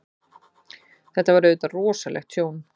Þetta var auðvitað rosalegt tjón.